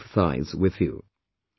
I can empathise with you